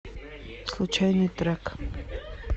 случайный трек